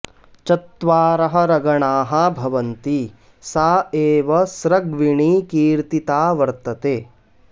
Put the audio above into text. चत्वारः रगणाः भवन्ति सा एव स्रग्विणी कीर्तिता वर्तते